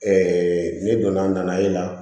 ne donna nali la